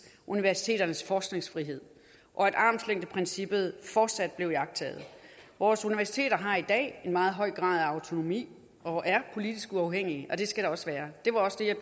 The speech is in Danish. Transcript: universiteternes forskningsfrihed og at armslængdeprincippet fortsat blev iagttaget vores universiteter har i dag en meget høj grad af autonomi og er politisk uafhængige og det skal de også være det var også det jeg